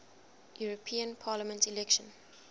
european parliament election